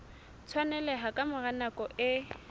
tshwaneleha ka mora nako e